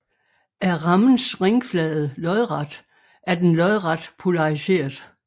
Er rammens ringflade lodret er den lodret polariseret